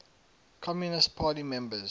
communist party members